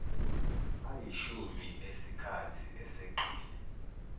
ayishumi esikhathi eseqile